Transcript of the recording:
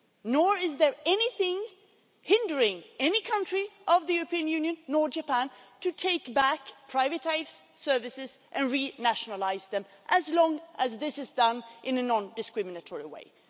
Nor is there anything hindering any country of the European Union, or Japan, from taking back privatised services and renationalising them, as long as this is done in a non discriminatory way.